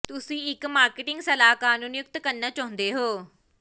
ਤੁਸੀਂ ਇੱਕ ਮਾਰਕੀਟਿੰਗ ਸਲਾਹਕਾਰ ਨੂੰ ਨਿਯੁਕਤ ਕਰਨਾ ਚਾਹੁੰਦੇ ਹੋ